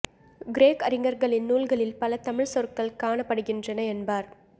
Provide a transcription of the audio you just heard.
கிரேக்க அறிஞர்களின் நூல்களில் பல தமிழ்ச் சொற்கள் காணப்படுகின்றன என்பார்